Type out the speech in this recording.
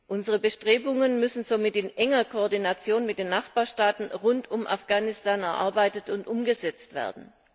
Unsere Maßnahmen müssen somit in enger Koordination mit den Nachbarstaaten rund um Afghanistan erarbeitet und umgesetzt werden.